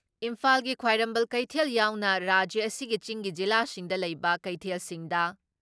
ꯏꯝꯐꯥꯜꯒꯤ ꯈ꯭ꯋꯥꯏꯔꯝꯕꯟ ꯀꯩꯊꯦꯜ ꯌꯥꯎꯅ ꯔꯥꯖ꯭ꯌ ꯑꯁꯤꯒꯤ ꯆꯤꯡꯒꯤ ꯖꯤꯂꯥꯁꯤꯡꯗ ꯂꯩꯕ ꯀꯩꯊꯦꯜꯁꯤꯡꯗ